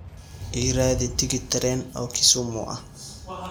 Ii raadi tigidh tareen oo Kisumu ah